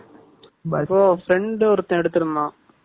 So , friend ஒருத்தன் எடுத்திருந்தான்